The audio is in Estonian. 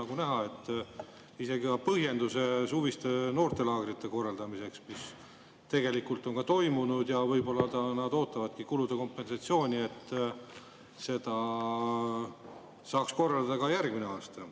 Aga põhjendus, mis suviste noortelaagrite korraldamist: need tegelikult on toimunud ja võib-olla nad ootavad kulude kompensatsiooni, et laagreid saaks korraldada ka järgmisel aastal.